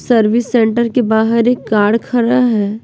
Service centre के बाहर एक कार खड़ा है।